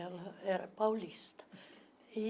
Ela era paulista.